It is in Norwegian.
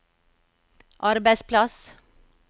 arbeidsplass